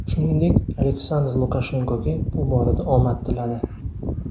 Shuningdek, Aleksandr Lukashenkoga bu borada omad tiladi.